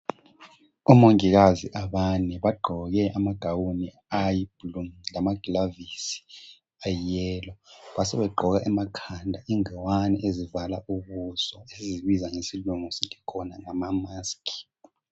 Omongikazi abane bagqoke amagawuni ayi blu lamaglavisi ayiyelo basebegqoka emakhanda ingqwani ezivala ubuso eyibiza ngesilungu sithi khona ngamamaskhi.